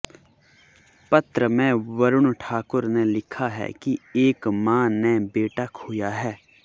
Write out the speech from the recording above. पत्र में वरुण ठाकुर ने लिखा है कि एक मां ने बेटा खोया है